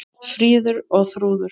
Fríður og Þrúður.